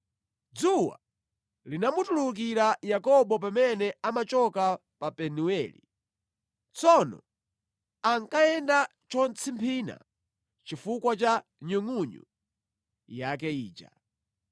Dzuwa linamutulukira Yakobo pamene amachoka pa Penueli. Tsono ankayenda chotsimphina chifukwa cha nyungʼunyu yake ija.